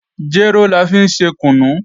Jéró la fi ń ṣe kùnú